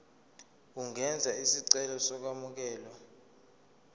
ungenza isicelo sokwamukelwa